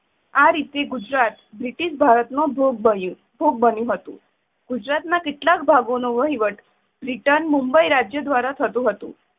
આ રીતે ગુજરાત બ્રિટિશ ભારત નો ભોગ બન્યું~ભોગ બન્યું હતું. ગુજરાતના કેટલાક ભાગોનો વહીવટ બ્રિટન મુંબઇ રાજ્ય દ્વારા થતું હતું.